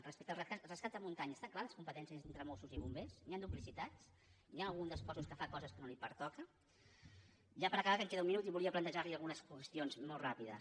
respecte als rescats de muntanya estan clares les competències entre mossos i bombers hi han duplicitats hi ha algun dels cossos que fa coses que no li pertoquen ja per acabar que em queda un minut i volia plantejar li algunes qüestions molt ràpides